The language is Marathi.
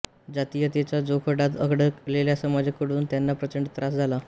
जातीयतेच्या जोखडात अडकलेल्या समाजकडून त्यांना प्रचंड त्रास झाला